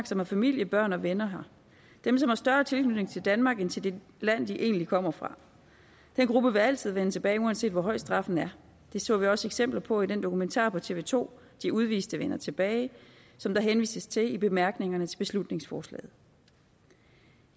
som har familie børn og venner her dem som har større tilknytning til danmark end til det land de egentlig kommer fra den gruppe vil altid vende tilbage uanset hvor høj straffen er det så vi også eksempler på i den dokumentar på tv to de udviste vender tilbage som der henvises til i bemærkningerne til beslutningsforslaget